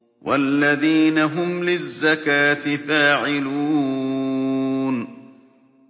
وَالَّذِينَ هُمْ لِلزَّكَاةِ فَاعِلُونَ